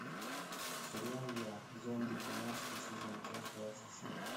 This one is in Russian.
сериал я зомби тринадцатый сезон часть двадцать семь